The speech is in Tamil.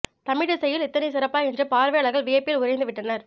தமிழ் இசையில் இத்தனை சிறப்பா என்று பார்வையாளர்கள் வியப்பில் உறைந்து விட்டனர்